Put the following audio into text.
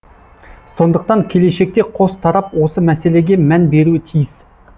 сондықтан келешекте қос тарап осы мәселеге мән беруі тиіс